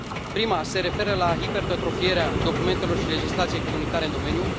Prima se referă la hipertrofierea documentelor și legislației comunitare în domeniu.